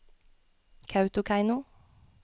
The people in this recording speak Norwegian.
Kautokeino